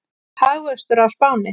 Hagvöxtur á Spáni